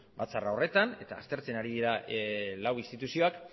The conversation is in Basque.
batzarra horretan eta aztertzen ari dira lau instituzioak